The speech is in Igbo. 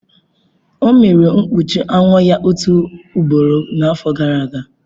O meghere mkpuchi anwụ ya otu ugboro n'afọ gara aga.